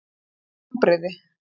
Hvílík vonbrigði!